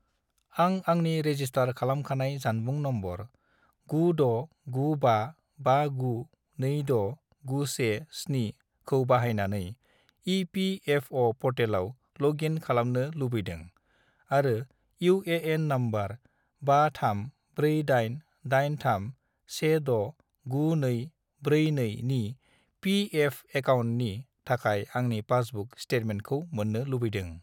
आं आंनि रेजिस्टार खालामखानाय जानबुं नम्बर 96955926917 खौ बाहायनानै इ.पि.एफ.अ'. पर्टेलाव लग इन खालामनो लुबैदों आरो इउ.ए.एन. नम्बर 534883169242 नि पी.एफ. एकाउन्टनि थाखाय आंनि पासबुक स्टेटमेन्टखौ मोन्नो लुबैदों।